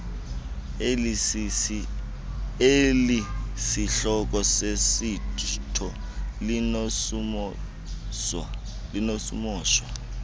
elisisihloko sosetsho linokumoshwa